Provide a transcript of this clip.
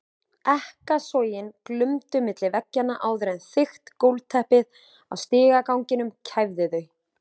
Ekkasogin glumdu milli veggjanna áður en þykkt gólfteppið á stigaganginum kæfði þau.